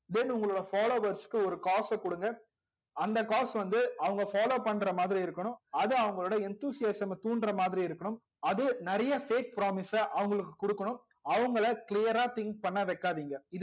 then உங்களோட followers க்கு ஒரு காச குடுங்க அந்த காஸ் வந்து அவங்க follow பண்றா மாதிரி இருக்கனும் அது அவங்களோட enthusiasm தூன்ற மாதிரி இருக்கணும் அது நெறைய fake promise ச அவங்களுக்கு குடுக்கணும் அவங்கல clear ரா think பண்ண வைக்காதிங்க